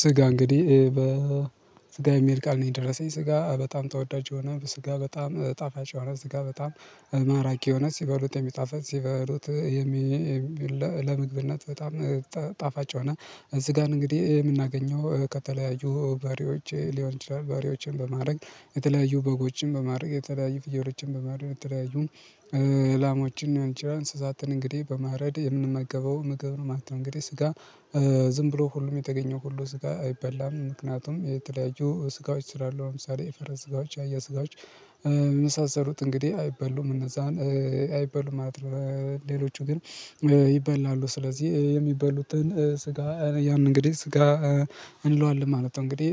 ስጋ እንግዲህ በስጋ የሚሄድ ቃል ነው የደረሰኝ ስጋ በጣም ተወዳጅ የሆነ ስጋ በጣም ጣፋጭ የሆነ ስጋ በጣም ማራኪ የሆነ ሲበሉት የሚጣፈል ሲበሉት ለምግብነት በጣም ጣፋጭ ሆነ። ስጋን እንግዲህ የምናገኘው ከተለያዩ በሬዎች ሊሆን ይችላል በሬዎችን በማድረግ የተለያዩ በጎችን በማድረግ የተለያዩ ፍየሮችን በማድረግ የተለያዩ ላሞችን ሊሆን ይችላል እንስሳትን እንግዲህ በማረድ የምንመገበው ምግብ ነው ማለት ነው። እንግዲህ ስጋ ዝም ብሎ ሁሉም የተገኘው ሁሉ ስጋ አይበላም ምክንያቱም የተለያዩ ስጋዎች ስራለው ለምሳሌ የፈረስ ስጋዎች ያየ ስጋዎች የሚሳሰሉት እንግዲህ አይበሉም እነዛን አይበሉም ማለት ነው። ሌሎቹ ግን ይበላሉ ስለዚህ የሚበሉትን ስጋ ያንን እንግዲህ ስጋ እንለዋለን ማለት ነው። እንግዲህ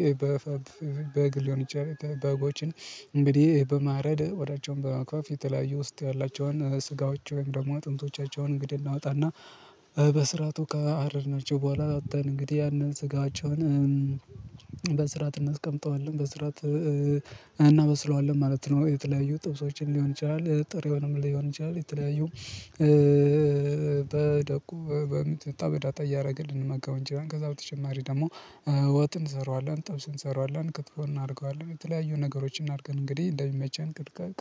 ሊሆን ይችላል በጎችን እንግዲህ በማረድ ቆዳቸዉን በመግፈፍ የተለያየ ውስጥ ያላቸውን ስጋዎች ወይም ደግሞ አጥንቶቻቸውን እንግዲህ እናወጣና በስራቱ ካረድናቸው በኋላ አውተን እንግዲህ ያንን ስጋቸውን በስራት እናስቀምጠዋለን በስራት እናበስለዋለን ማለት ነው። የተለያዩ ጥብሶችን ሊሆን ይችላል ጥሬውንም ሊሆን ይችላል የተለያዩ በደቁ በሚጥሚጣ በዳጣ እያደረግን ልንመገብ እንችላለን ከዛ በተጨማሪ ደግሞ ወጥን እንሰራዋለን ጥብስን እንሰራዋለን ክትፎ እናደርገዋለን የተለያዩ ነገሮችን እናድርገን እንግዲህ እንደሚመቸን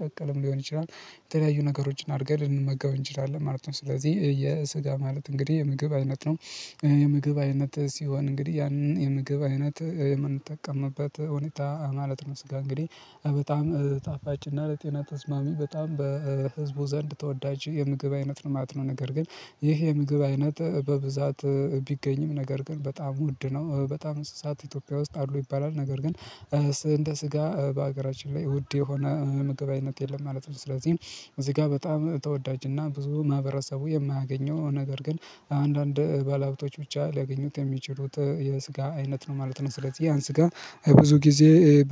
ቀቀልም ሊሆን ይችላል የተለያዩ ነገሮችን አድርገን ልንመገብ እንችላለን ማለት ነው። ስለዚህ የስጋ ማለት እንግዲህ የምግብ አይነት ነው። የምግብ አይነት ሲሆን እንግዲህ ያንን የምግብ አይነት የምንጠቀምበት ሁኔታ ማለት ነው። ስጋ እንግዲህ በጣም ጣፋጭና ለጤና ተስማሚ በጣም በህዝቡ ዘንድ ተወዳጅ የምግብ አይነት ነው። ማለት ነገር ግን ይህ የምግብ አይነት በብዛት ቢገኝም ነገር ግን በጣም ውድ ነው። በጣም እንስሳት ኢትዮጵያ ውስጥ አሉ ይባላል ነገር ግን እንደ ስጋ በሀገራችን ላይ ውድ የሆነ ምግባዊነት የለም ማለት ነው። ስለዚህ እዚህ ጋር በጣም ተወዳጅና ብዙ ማህበረሰቡ የማያገኘው ነገር ግን አንዳንድ ባለሀብቶች ብቻ ሊያገኙት የሚችሉት የስጋ አይነት ነው ማለት ነው። ስለዚህ ያን ስጋ ብዙ ጊዜ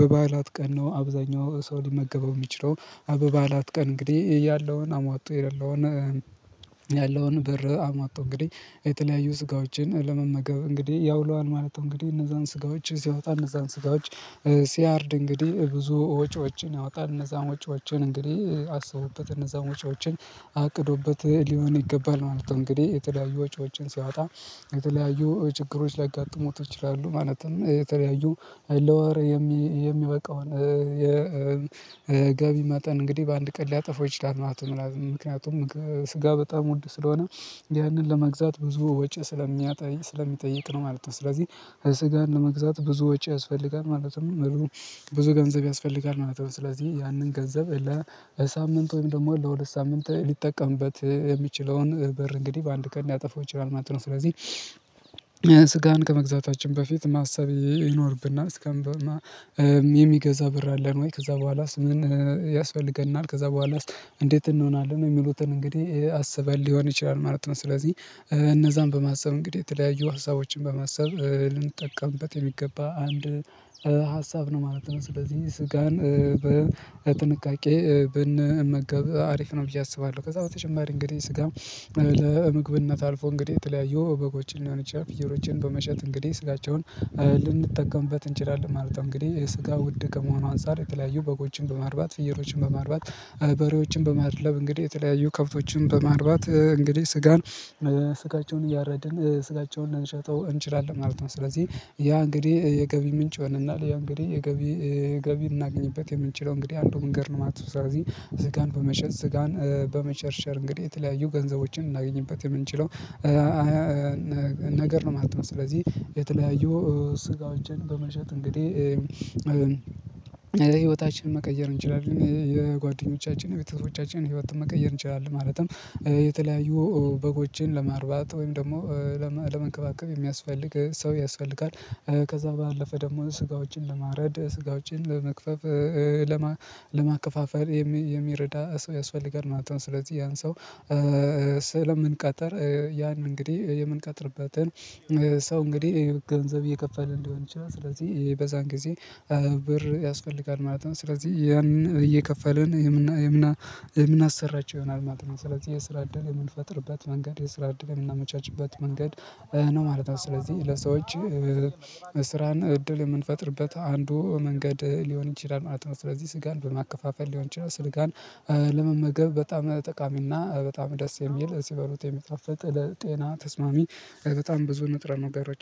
በበዓላት ቀን ነው አብዛኛው ሰው ሊመገበው የሚችለው በበዓላት ቀን እንግዲህ ያለውን አሟጦ የሌለውን ያለውን ብር አሟጦ እንግዲህ የተለያዩ ስጋዎችን ለመመገብ እንግዲህ ያውለዋል ማለት ነው። እንግዲህ እነዛን ስጋዎች ሲያወጣ እነዛን ስጋዎች ሲያርድ እንግዲህ ብዙ ወጪዎችን ያወጣል እነዛን ወጪዎችን እንግዲህ አስቦበት እነዛን ወጪዎችን አቅዶበት ሊሆን ይገባል ማለት ነው። እንግዲህ የተለያዩ ወጪዎችን ሲያወጣ የተለያዩ ችግሮች ላጋጥሙት ይችላሉ ማለትም የተለያዩ ለወር የሚበቃውን የጋቢ መጠን እንግዲህ በአንድ ቀን ሊያጠፋው ይችላል ማለት ነው። ምክንያቱም ስጋ በጣም ውድ ስለሆነ ያንን ለመግዛት ብዙ ወጪ ስለሚጠይቅ ነው ማለት ነው። ስለዚህ ስጋን ለመግዛት ብዙ ወጪ ያስፈልጋል ማለትም ብዙ ገንዘብ ያስፈልጋል ማለት ነው። ስለዚህ ያንን ገንዘብ ለሳምንት ወይም ደግሞ ለሁለት ሳምንት ሊጠቀምበት የሚችለውን በር እንግዲህ በአንድ ቀን ሊያጠፋው ይችላል ማለት ነው። ስለዚህ ስጋን ከመግዛታችን በፊት ማሰብ ይኖርብና እስከምበማ የሚገዛ በር አለን ወይ? ከዛ በኋላስ ምን ያስፈልገናል ከዛ በኋላስ እንዴት እንሆናለን የሚሉትን እንግዲህ አስበን ሊሆን ይችላል ማለት ነው። ስለዚህ እነዛን በማሰብ እንግዲህ የተለያዩ ሀሳቦችን በማሰብ ልንጠቀምበት የሚገባ አንድ ሀሳብ ነው ማለት ነው። ስለዚህ ስጋን በጥንቃቄ ብንመገብ አሪፍ ነው ብዬ አስባለሁ። ከዛ በተጨማሪ እንግዲህ ስጋም ለምግብነት አልፎ እንግዲህ የተለያየው በጎችን ሊሆን ፍየሎችን በመሸጥ እንግዲህ ስጋቸውን ልንጠቀምበት እንችላለን ማለት ነው። እንግዲህ ስጋ ውድ ከመሆኑ አንፃር የተለያዩ በጎችን በማርባት ፍየሎችን በማርባት በሬዎችን በማድለብ እንግዲህ የተለያዩ ከብቶችን በማርባት እንግዲህ ስጋን ስጋቸውን እያረድን ስጋቸውን ልንሸጠው እንችላለን ማለት ነው። ስለዚህ ያ እንግዲህ የገቢ ምንጭ ይሆነናል ያው እንግዲህ የገቢ ገቢ እናገኝበት የምንችለው እንግዲህ አንዱ መንገድ ነው የማለት ነው። ስለዚህ ስጋን በመሸጥ ስጋን በመሸሸር እንግዲህ የተለያዩ ገንዘቦችን እናገኝበት የምንችለው ነገር ነው ማለት ነው። ስለዚህ የተለያየው ስጋዎችን በመሸጥ እንግዲህ ለህይወታችን መቀየር እንችላለን የጓደኞቻችን የቤተሰቦቻችንን ህይወትን መቀየር እንችላለን። ማለትም የተለያዩ በጎችን ለማርባት ወይም ደግሞ ለመንከባከብ የሚያስፈልግ ሰው ያስፈልጋል ከዛ ባለፈ ደግሞ ስጋዎችን ለማረድ ስጋዎችን ለመግፈፍ ለማከፋፈል የሚረዳ ሰው ያስፈልጋል ማለት ነው። ስለዚህ ያን ሰው ስለምንቀጥር ያን እንግዲህ የምንቀጥርበትን ሰው እንግዲህ ገንዘብ እየከፈልን እንዲሆን ይችላል። ስለዚህ በዛን ጊዜ ብር ያስፈልጋል ማለት ነው። ስለዚህ ያንን እየከፈልን የምናሰራቸው ይሆናል ማለት ነው። ስለዚህ የስራ እዳል የምንፈጥርበት መንገድ የስራ እደል የምንቻችበት መንገድ ነው ማለት ነው። ስለዚህ ለሰዎች ስራን እድል የምንፈጥርበት አንዱ መንገድ ሊሆን ይችላል ማለት ነው። ስለዚህ ስጋን በማከፋፈል ሊሆን ይችላል ስጋን ለመመገብ በጣም ጠቃሚና በጣም ደስ የሚል ሲበሉት የሚጣፍጥ ለጤና ተስማሚ። በጣም ብዙ ንጥረ ነገሮችን